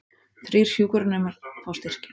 Þrír hjúkrunarnemar fá styrki